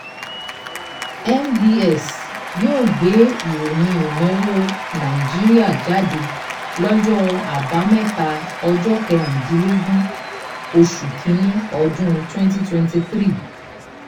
"nbs yóò gbé ìròyìn ìnáwó nàìjíríà jáde lọ́jọ́ àbámẹ́ta ọjọ́ kẹrìndínlógún oṣù kíní ọdún twenty twenty three ."